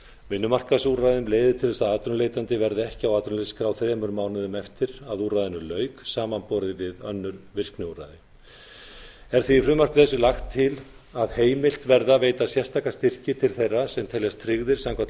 vinnumarkaðsúrræðum leiði til þess að atvinnuleitandi verði ekki á atvinnuleysisskrá þremur mánuðum eftir að úrræðinu lauk samanborið við önnur virkniúrræði er því í frumvarpi þessu lagt til að heimilt verði að veita sérstaka styrki til þeirra sem teljast tryggðir samkvæmt